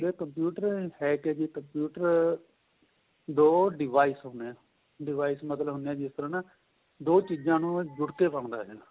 ਜਿਹੜਾ computer ਏਹ ਕਿਹਾ ਜੀ computer ਦੋ device ਹੁਣੇ ਏ device ਹੁੰਦੇ ਏਹ ਜਿਸ ਤਰ੍ਹਾਂ ਦੋ ਚੀਜਾਂ ਨੂੰ ਜੁੜਕੇ ਬਣਦਾ ਏਹ